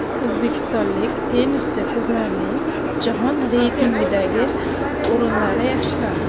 O‘zbekistonlik tennischi qizlarning jahon reytingidagi o‘rinlari yaxshilandi.